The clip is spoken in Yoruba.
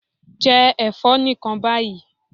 Jẹ ẹ̀fọ́ nìkan báyìí.